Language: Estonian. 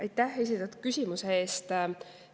Aitäh esitatud küsimuse eest!